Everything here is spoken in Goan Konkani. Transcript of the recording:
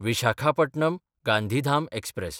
विशाखापटणम–गांधीधाम एक्सप्रॅस